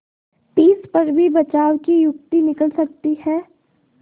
तिस पर भी बचाव की युक्ति निकल सकती है